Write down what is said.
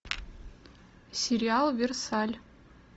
сериал версаль